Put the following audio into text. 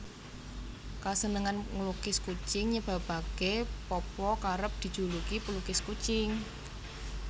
Kasenengan nglukis kucing nyebabaké Popo kerep dijuluki pelukis kucing